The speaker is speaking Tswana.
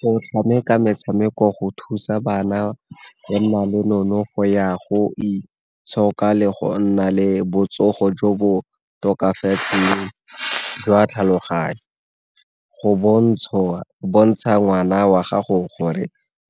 Go tshameka metshameko go thusa bana go nna le nonofo ya go itshoka le go nna le botsogo jo bo tokafetseng jwa tlhaloganyo. Go bontsha ngwana wa gago gore